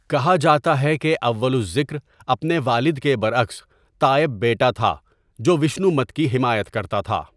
کہا جاتا ہے کہ اول الذکر اپنے والد کے برعکس تائب بیٹا تھا جو ویشنو مت کی حمایت کرتا تھا۔